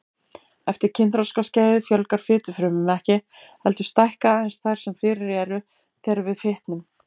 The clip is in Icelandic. Eftir kynþroskaskeiðið fjölgar fitufrumum ekki, heldur stækka aðeins þær sem fyrir eru þegar við fitnum.